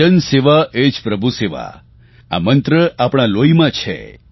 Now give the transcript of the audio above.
જનસેવા એ જ પ્રભુ સેવા આ મંત્ર આપણા લોહીમાં છે